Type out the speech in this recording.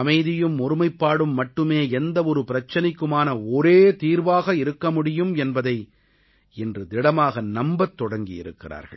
அமைதியும் ஒருமைப்பாடும் மட்டுமே எந்த ஒரு பிரச்சனைக்குமான ஒரே தீர்வாக இருக்க முடியும் என்பதை இன்று திடமாக நம்பத் தொடங்கி இருக்கிறார்கள்